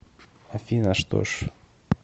афина что ж